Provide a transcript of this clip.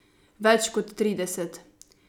Več kot trideset.